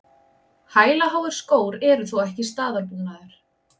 Hælaháir skór eru þó ekki staðalbúnaður